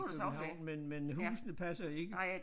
København men men husene passer ikke